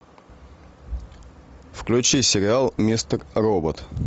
включи сериал мистер робот